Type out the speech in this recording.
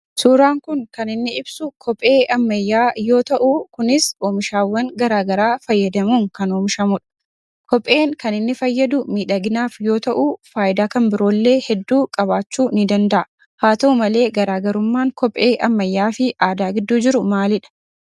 Suuraan kun kan inni ibsu kophee ammayyaa yoo ta'u kunis oomishaawwan garaa garaa fayyadamuun kan oomishamudha. Kopheen kan inni fayyadu miidhaginaaf yoo ta'u faayidaa kan biroollee hedduu qabaachuu ni danda'a. Haa ta'u malee garaagarummaan kophee ammayyaafi aadaa gidduu jiru maalidha?